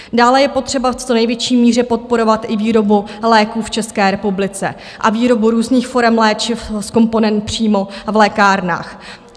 Dále je potřeba v co největší míře podporovat i výrobu léků v České republice a výrobu různých forem léčiv z komponent přímo v lékárnách.